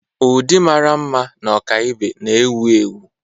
Ụdị mara mma na ọkaibe na-ewu ewu.